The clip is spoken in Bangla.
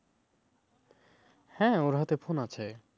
হ্যাঁ ওর হাতে phone আছে।